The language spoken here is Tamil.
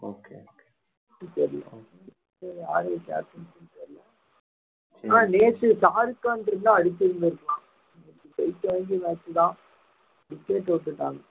சரி bro captaincy நேத்து பாரிஸ்கான் இருந்தா அடிச்சிருந்திருப்பான் ஜெயிக்கவேண்டிய match தான் தோத்துட்டாங்க